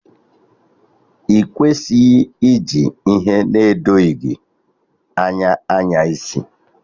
Ị kwesịghị iji ihe edoghi gị anya anyaisi